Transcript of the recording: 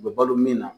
U bɛ balo min na